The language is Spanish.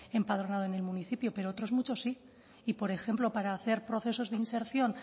empadronado en el municipio pero otros muchos sí y por ejemplo para hacer procesos de inserción